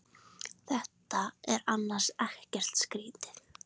Þetta er annars ekkert skrýtið.